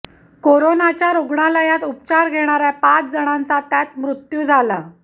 करोनाच्या रुग्णालयात उपचार घेणाऱ्या पाच जणांचा त्यात मृत्यू झाला